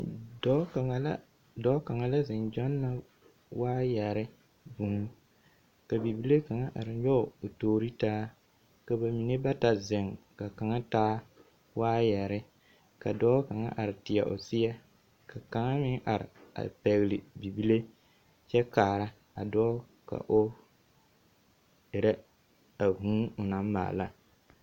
Dɔɔ kaŋa la dɔɔ kaŋa la zeŋ gyɔnnɔ waayɛre vŭŭ, ka bibile kaŋa ar nyɔɔ o toori taa. Ka ba mine bata zeŋ ka kaŋa taa waayɛre. Ka dɔɔ kaŋa ar teɛ o seɛ, ka kaŋa meŋ are a pɛgele bibile kyɛ kaara a dɔɔ ka o erɛ a vŭŭ o naŋ maala.